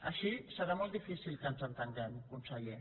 així serà molt difícil que ens entenguem conseller